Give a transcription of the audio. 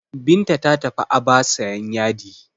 Binta ta tafi Aba sayan yadi.